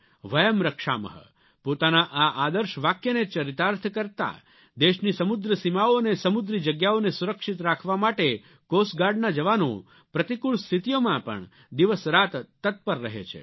વયમ રક્ષામઃ પોતાના આ આદર્શ વાક્યને ચરિતાર્થ કરતા દેશની સમુદ્ર સીમાઓ અને સમુદ્રિ જગ્યાઓને સુરક્ષિત રાખવા માટે કોસ્ટ ગાર્ડના જવાનો પ્રતિકૂળ સ્થિતિઓમાં પણ દિવસરાત તત્પર રહે છે